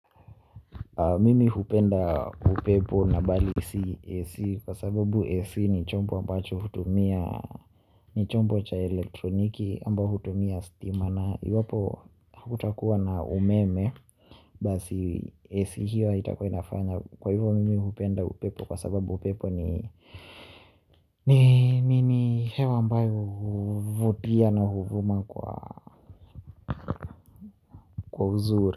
Mimi hupenda upepo na bali si AC kwa sababu AC ni chombo ambacho hutumia. Ni chombo cha elektroniki ambayo hutumia stima na iwapo hutakuwa na umeme basi AC hiyo haitakua inafanya kwa hivyo mimi hupenda upepo kwa sababu upepo ni ni hewa ambayo huvutia na huvuma kwa uzuri.